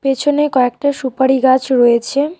পেছনে কয়েকটা সুপারি গাছ রয়েছে।